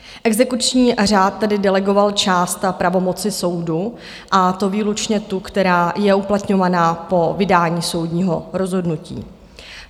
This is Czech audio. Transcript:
Exekuční řád tedy delegoval část pravomoci soudu, a to výlučně tu, která je uplatňována po vydání soudního rozhodnutí.